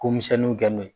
Ko misɛnninw kɛ n'o ye